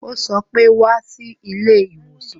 Ó sọ pé "Wá sí ilé ìwòsàn"